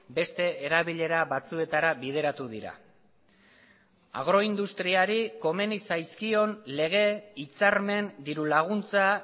beste erabilera batzuetara bideratu dira agroindustriari komeni zaizkion lege hitzarmen dirulaguntza